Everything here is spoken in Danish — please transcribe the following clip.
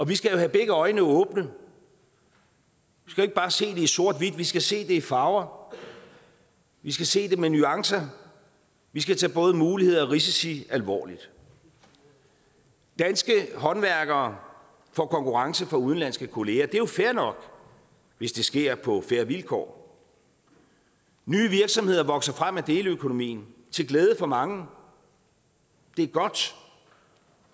vi skal jo have begge øjne åbne vi skal ikke bare se det i sort hvid vi skal se det i farver vi skal se det med nuancer vi skal tage både muligheder og risici alvorligt danske håndværkere får konkurrence fra udenlandske kolleger det er jo fair nok hvis det sker på fair vilkår nye virksomheder vokser frem af deleøkonomien til glæde for mange og det er godt